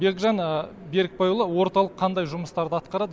бекжан берікбайұлы орталық қандай жұмыстарды атқарады